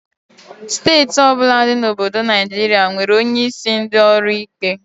Steeti ọbụla dị na obodo Naijiria nwere onye isi ndị ọrụ ikpe